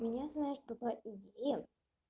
мне знаешь что по идее